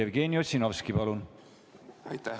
Jevgeni Ossinovski, palun!